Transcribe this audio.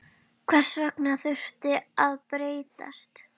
Hvers vegna þurfti það að breytast?